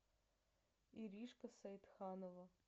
иришка саидханова